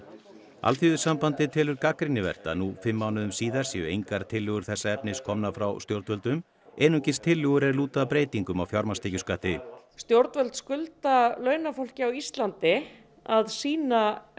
Alþýðusambandið telur gagnrýnivert að nú fimm mánuðum síðar séu engar tillögur þessa efnis komnar frá stjórnvöldum einungis tillögur er lúta að breytingum á fjármagnstekjuskatti stjórnvöld skulda launafólki á Íslandi að sýna